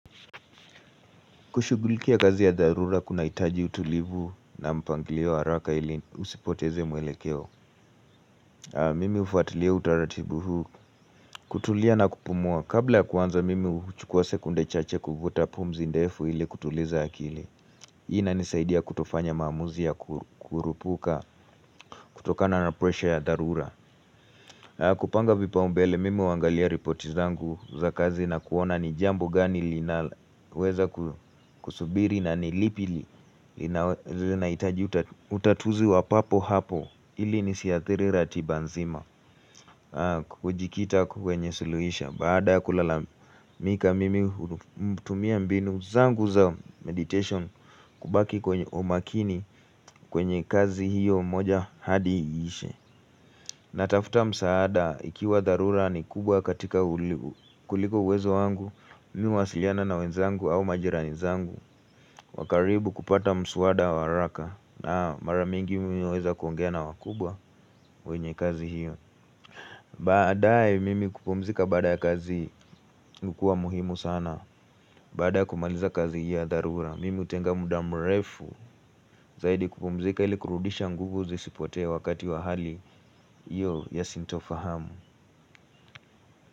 Kushugulikia kazi ya dharura kuna itaji utulivu na mpangilio araka ili usipoteze mwelekeo. Mimi hufuatilia utaratibu huu kutulia na kupumua. Kabla ya kuanza mimi huchukua sekunde chache kuvuta pumzi ndefu ili kutuliza akili. Inanisaidia kutofanya maamuzi ya kurupuka kutokana na pressure ya dharura. Kupanga vipaumbele mimi uangalia ripoti zangu za kazi na kuona ni jambo gani linaweza kusubiri na ni lipi li inahitaji utatuzi wa papo hapo ili nisiathiri ratiba nzima hujikita kwenye suluisho baada kulalamika mimi hutumia mbinu zangu za meditation kubaki kwenye umakini kwenye kazi hiyo moja hadi ishe natafuta msaada ikiwa dharura ni kubwa katika kuliko uwezo wangu mi huwasiliana na wenzangu au majirani zangu wa karibu kupata mswada wa araka na mara mingi mimi huweza kuongea na wakubwa wenye kazi hiyo Baadae mimi kupumzika baada ya kazi inakua muhimu sana Bada ya kumaliza kazi ya dharura Mimi hutenga muda mrefu zaidi kupumzika ili kurudisha nguvu zisipotee wakati wa hali Iyo ya sintofahamu.